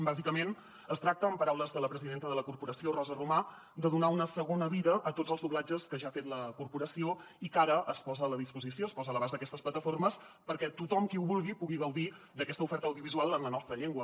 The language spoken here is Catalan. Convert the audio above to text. bàsicament es tracta en paraules de la presidenta de la corporació rosa romà de donar una segona vida a tots els doblatges que ja ha fet la corporació i que ara es posen a la disposició es posen a l’abast d’aquestes plataformes perquè tothom qui ho vulgui pugui gaudir d’aquesta oferta audiovisual en la nostra llengua